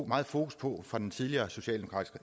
meget fokus på fra den tidligere socialdemokratiske